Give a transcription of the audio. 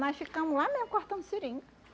Nós ficamos lá mesmo cortando seringa.